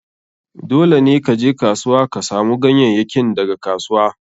Dole ne ka je kasuwa ka samu ganyayyakin daga kasuwa.